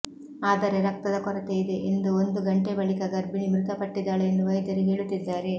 ಆದರೆ ರಕ್ತದ ಕೊರತೆ ಇದೆ ಎಂದು ಒಂದು ಗಂಟೆ ಬಳಿಕ ಗರ್ಭಿಣಿ ಮೃತಪಟ್ಟಿದ್ದಾಳೆ ಎಂದು ವೈದ್ಯರು ಹೇಳುತ್ತಿದ್ದಾರೆ